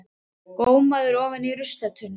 Gómaður ofan í ruslatunnu!